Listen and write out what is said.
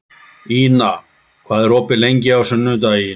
Ina, hvað er opið lengi á sunnudaginn?